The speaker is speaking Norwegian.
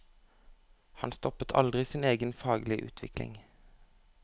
Han stoppet aldri sin egen faglige utvikling.